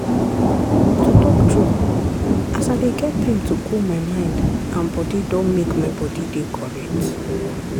to talk true as i dey get time to cool my mind and bodi don make my bodi dey correct.